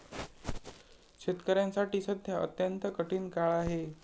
शेतकऱ्यांसाठी सध्या अत्यंत कठीण काळ आहे.